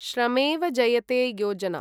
श्रमेव जयते योजना